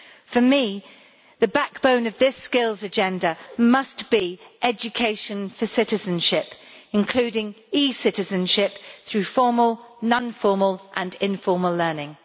For me the backbone of this Skills Agenda must be education for citizenship, including e citizenship through formal, non formal and informal learning.